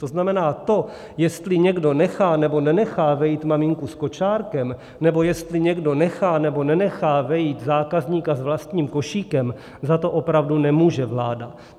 To znamená, to, jestli někdo nechá, nebo nenechá vejít maminku s kočárkem nebo jestli někdo nechá, nebo nenechá vejít zákazníka s vlastním košíkem, za to opravdu nemůže vláda.